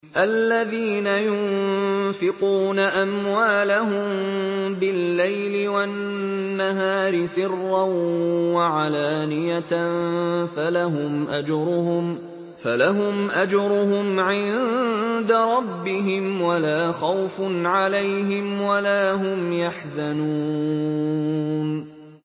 الَّذِينَ يُنفِقُونَ أَمْوَالَهُم بِاللَّيْلِ وَالنَّهَارِ سِرًّا وَعَلَانِيَةً فَلَهُمْ أَجْرُهُمْ عِندَ رَبِّهِمْ وَلَا خَوْفٌ عَلَيْهِمْ وَلَا هُمْ يَحْزَنُونَ